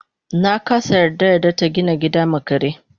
nakasa yarda yarda tagina gida ma kare